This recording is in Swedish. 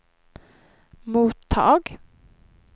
mottag